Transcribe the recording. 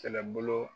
Kɛlɛbolo